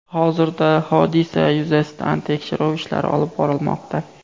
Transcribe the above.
Hozirda hodisa yuzasidan tekshiruv ishlari olib borilmoqda.